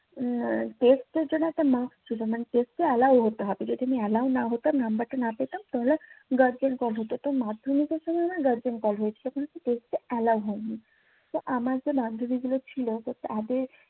test এর জন্য একটা মার্ক ছিলো মানি test এ allow হতে হবে যদি আমি allow না হতাম নাম্বারটা না পেতাম তাহলে গার্জিয়ান কল হতো তো মাধ্যমিকের সময় নাহ গার্জিয়ান কল হয়েছে তখন হচ্ছে test এ allow হইনি তো আমার যে বান্ধবি গুলো ছিলো তো তাদের